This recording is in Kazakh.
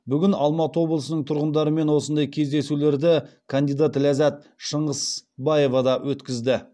бүгін алматы облысының тұрғындарымен осындай кездесулерді кандидат ләззат шыңғысбаева да өткізді